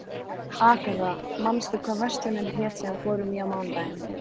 Agatha, manstu hvað verslunin hét sem við fórum í á mánudaginn?